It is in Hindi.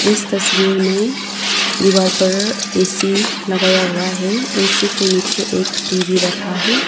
इस तस्वीर में दीवार पर ए_सी लगाया हुआ है ए_सी के नीचे एक टी_वी रखा है।